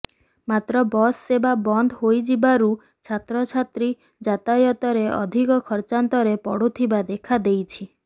ମାତ୍ର ବସ୍ ସେବା ବନ୍ଦ ହୋଇଯିବାରୁ ଛାତ୍ରଛାତ୍ରୀ ଯାତାୟତରେ ଅଧିକ ଖର୍ଚ୍ଚାନ୍ତରେ ପଡୁଥିବା ଦେଖାଦେଇଛି